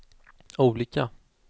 olika